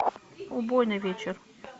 убойный вечер